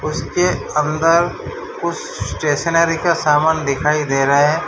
उस के अंदर कुछ स्टेशनरी का सामान दिखाई दे रहा है।